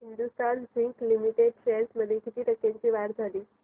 Hindustan zinc limited shares मध्ये किती टक्क्यांची वाढ झाली